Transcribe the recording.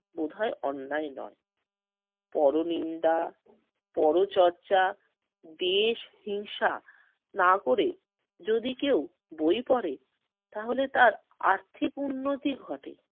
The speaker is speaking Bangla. বোধহয় অন্যায় নয়। পরনিন্দা, পরচর্চা, দ্বেষ, হিংসা না করে যদি কেউ বই পড়ে তাহলে তার আর্থিক উন্নতি ঘটে।